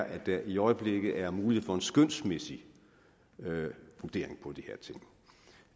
at der i øjeblikket er mulighed for en skønsmæssig vurdering